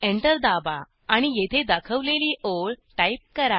enter दाबा आणि येथे दाखवलेली ओळ टाईप करा